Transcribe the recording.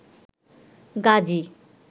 Gazi